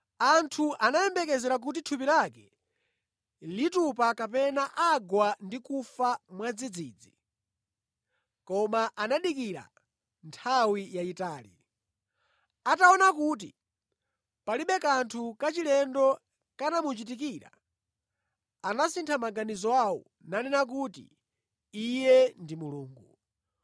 Anthu anayembekezera kuti thupi lake litupa kapena agwa ndi kufa mwadzidzidzi, koma anadikira nthawi yayitali. Ataona kuti palibe kanthu kachilendo kanamuchitikira anasintha maganizo awo nanena kuti iye ndi mulungu.